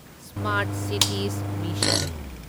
smart cities mission